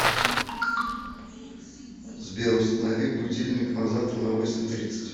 сбер установи будильник на завтра на восемь тридцать